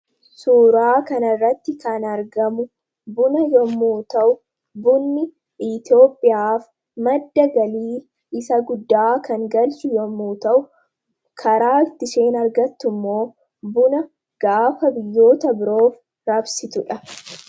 Suuraa kanarratti kan argamu buna yommuu ta'u, bunni Itoophiyaaf madda galii isa guddaa kan galchu yommuu ta'u, karaatti isheen argattu immoo gaafa biyyoota biroof raabsitudha.